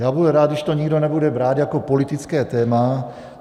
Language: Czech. Já budu rád, když to nikdo nebude brát jako politické téma.